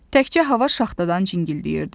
Təkcə hava şaxtadan cingildəyirdi.